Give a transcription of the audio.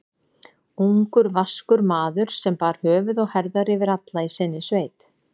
Ungur, vaskur maður, sem bar höfuð og herðar yfir alla í sinni sveit.